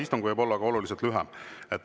Istung võib olla ka oluliselt lühem.